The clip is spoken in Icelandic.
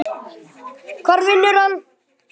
Hvar vinnur hann?